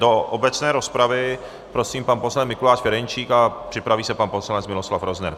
Do obecné rozpravy prosím, pan poslanec Mikuláš Ferjenčík a připraví se pan poslanec Miloslav Rozner.